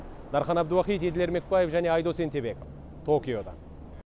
дархан әбдуахит еділ ермекбаев және айдос ентебеков токиодан